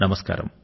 నమస్కారం